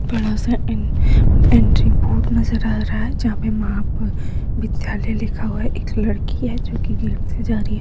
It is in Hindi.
बड़ा सा एन एंट्री बोर्ड नजर आ रहा है जहा पे महाविधालय लिखा हुआ है एक लड़की है जो की गिरती जा रही है ।